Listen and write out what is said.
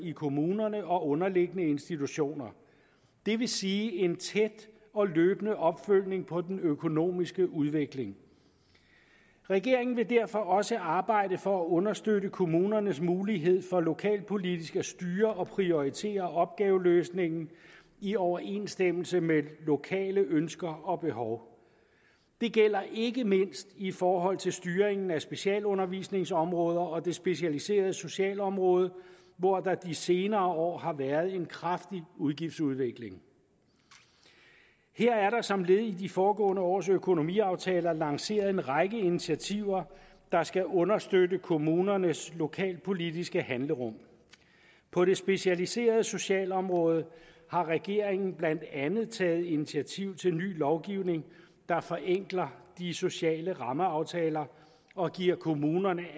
i kommunerne og underliggende institutioner det vil sige en tæt og løbende opfølgning på den økonomiske udvikling regeringen vil derfor også arbejde for at understøtte kommunernes mulighed for lokalpolitisk at styre og prioritere opgaveløsningen i overensstemmelse med lokale ønsker og behov det gælder ikke mindst i forhold til styringen af specialundervisningsområdet og det specialiserede socialområde hvor der de senere år har været en kraftig udgiftsudvikling her er der som led i de foregående års økonomiaftaler lanceret en række initiativer der skal understøtte kommunernes lokalpolitiske handlerum på det specialiserede socialområde har regeringen blandt andet taget initiativ til ny lovgivning der forenkler de sociale rammeaftaler og giver kommunerne